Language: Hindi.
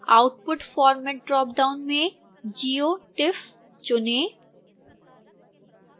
output format ड्रापडाउन में geo tiff चुनें